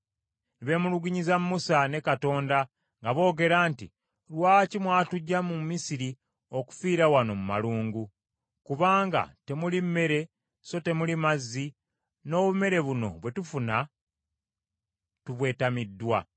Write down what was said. Ne beemulugunyiza Musa ne Katonda nga boogera nti, “Lwaki mwatuggya mu Misiri okufiira wano mu malungu? Kubanga temuli mmere; so temuli mazzi; n’obumere buno bwe tufuna tubwetamiddwa.”